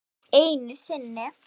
Jú, einu sinni.